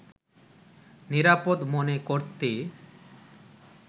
নিরাপদ মনে করতে